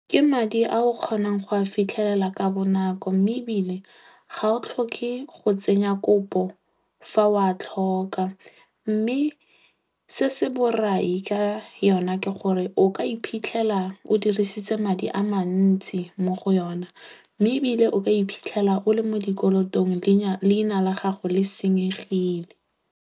Ke madi a o kgonang go a fitlhelela ka bonako mme ebile ga o tlhoke go tsenya kopo fa o a tlhoka. Mme se se borai ka yona ke gore o ka iphitlhela o dirisitse madi a mantsi mo go yona. Mme ebile o ka iphitlhela o le mo dikolotong leina la gago le senyegile.